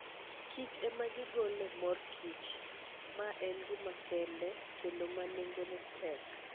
Kich ema gigolo mor kich, ma en gima kende kendo ma nengone tek.